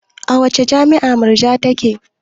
A wace jami'a Murja take?